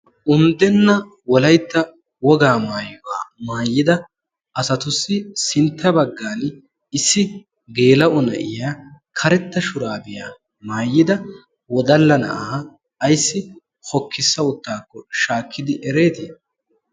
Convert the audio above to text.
Unddenna wolaytta wogaa maayuwaa maayida asatussi sintta baggaani issi geela'o naa'iyaa karetta shurabiyaa maayida wodalla na'aa ayssi hokkisa uttidakko shakkidi eretti?